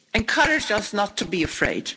She encouraged us not to be afraid.